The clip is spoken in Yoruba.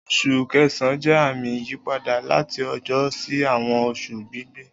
Oṣu Kẹsan jẹ ami iyipada lati ojo si awọn oṣu gbigbẹ